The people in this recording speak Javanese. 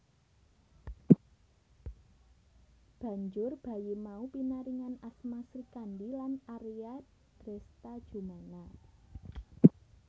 Banjur bayi mau pinaringan asma Srikandhi lan Arya Dresthajumena